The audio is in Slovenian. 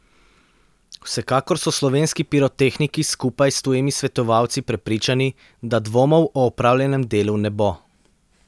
Vsekakor so slovenski pirotehniki skupaj s tujimi svetovalci prepričani, da dvomov o opravljenem delu ne bo.